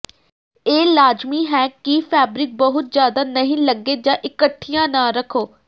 ਇਹ ਲਾਜ਼ਮੀ ਹੈ ਕਿ ਫੈਬਰਿਕ ਬਹੁਤ ਜ਼ਿਆਦਾ ਨਹੀਂ ਲੰਘੇ ਜਾਂ ਇੱਕਠੀਆਂ ਨਾ ਰੱਖੋ